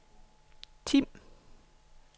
Tim